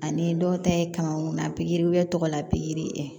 Ani dɔw ta ye kamankun na pikiri wɛrɛ tɔgɔ la pikiri ye